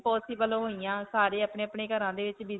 possible ਹੋਇਆਂ. ਸਾਰੇ ਅਪਨੇ-ਅਪਨੇ ਘਰਾਂ ਦੇ ਵਿੱਚ.